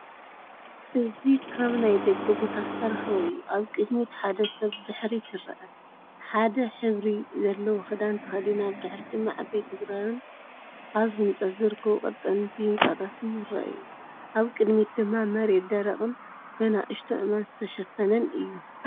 እዚ ካብ ናይ ደገ ቦታ ዝተረኸበ እዩ። ኣብ ቅድሚት ሓደ ሰብ ብድሕሪት ይርአ፣ ሓደ ሕብሪ ዘለዎ ክዳን ተኸዲና። ብድሕሪት ድማ ዓበይቲ ኣግራብን ኣብ ህንጸት ዝርከቡ ቀጠንቲ ህንጻታትን ይረኣዩ። ኣብ ቅድሚት ድማ መሬት ደረቕን ብንኣሽቱ ኣእማን ዝተሸፈነን እዩ።